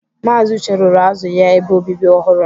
Maazi Uche rụrụ azu ya ebe obibi ọhụrụ